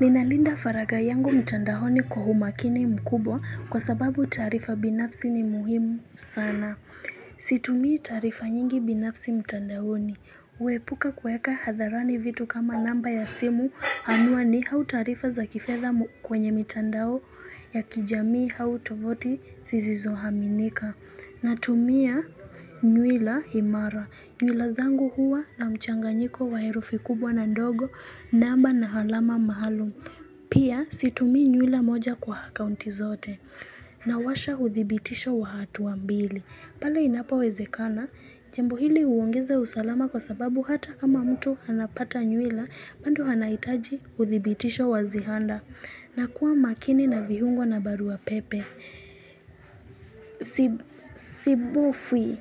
Ninalinda faraga yangu mtandaoni kwa umakini mkubwa kwa sababu taarifa binafsi ni muhimu sana. Situmi taarifa nyingi binafsi mtandaoni. Huepuka kuweka hadharani vitu kama namba ya simu anuani au taarifa za kifedha kwenye mitandao ya kijamii au tovuti zisizo aminika. Na tumia nywila imara. Nywila zangu huwa na mchanganyiko wa herufi kubwa na ndogo namba na alama maalum. Pia situmi nywila moja kwa akaunti zote. Na washa uthibitisho wa hatu wa mbili. Pale inapo wezekana, jambo hili huongeza usalama kwa sababu hata kama mtu anapata nywila, bado anahitaji uthibitisho wa ziada. Na kuwa makini na vihungo na barua pepe. Sibufi